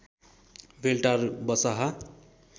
बेल्टार बसाहा